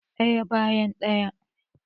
Ɗaya bayan ɗaya